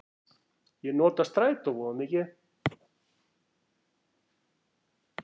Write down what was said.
Ég nota strætó voða mikið.